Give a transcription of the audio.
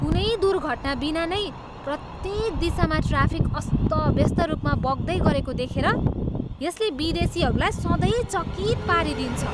कुनै दुर्घटनाबिना नै प्रत्येक दिशामा ट्राफिक अस्तव्यस्त रूपमा बग्दै गरेको देखेर यसले विदेशीहरूलाई सधैँ चकित पारिदिन्छ।